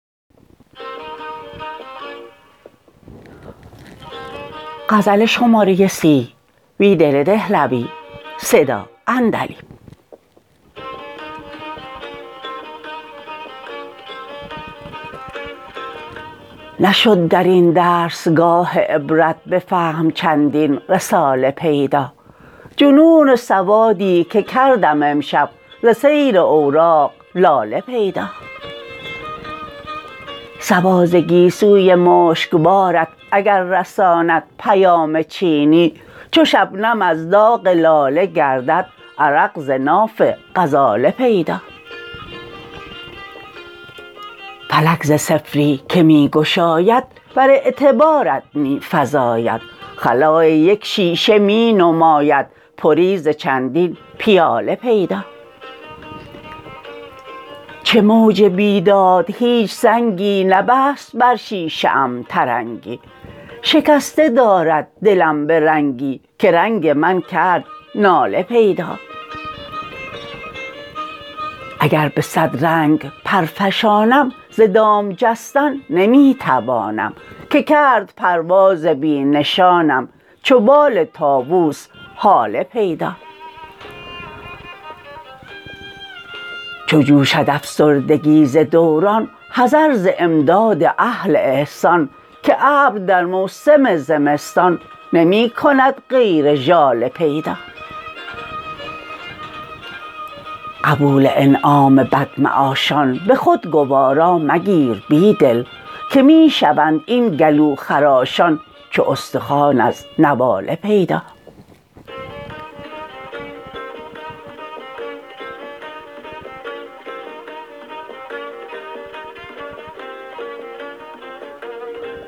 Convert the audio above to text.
نشد در این درسگاه عبرت به فهم چندین رساله پیدا جنون سوادی که کردم امشب ز سیر اوراق لاله پیدا صبا ز گیسوی مشکبارت اگر رساند پیام چینی چو شبنم از داغ لاله گردد عرق ز ناف غزاله پیدا فلک ز صفری که می گشاید بر اعتبارات می فزاید خلای یک شیشه می نماید پری ز چندین پیاله پیدا چو موج بیداد هیچ سنگی نبست بر شیشه ام ترنگی شکسته دارد دلم به رنگی که رنگ من کرد ناله پیدا اگر به صد رنگ پر فشانم ز دام جستن نمی توانم که کرد پرواز بی نشانم چو بال طاووس هاله پیدا چو جوشد افسردگی ز دوران حذر ز امداد اهل احسان که ابر در موسم زمستان نمی کند غیر ژاله پیدا قبول انعام بدمعاشان به خود گوارا مگیر بیدل که می شوند این گلوخراشان چو استخوان از نواله پیدا